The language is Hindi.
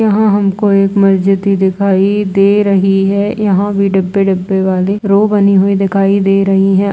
यहाँ हमको एक मस्जिद ही दिखाई दे रही है। यहाँ भी डब्बे-डब्बे वाली रो बनी हुई दिखाई दे रहीं है।